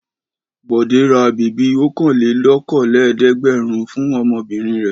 Bọ̀dé ra bèbí ọ̀kanlélókòólẹ́ẹ̀dẹ́gbẹ̀rún fún ọmọbìnrin rẹ̀.